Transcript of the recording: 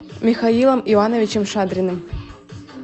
михаилом ивановичем шадриным